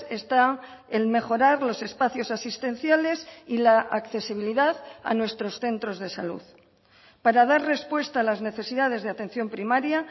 está el mejorar los espacios asistenciales y la accesibilidad a nuestros centros de salud para dar respuesta a las necesidades de atención primaria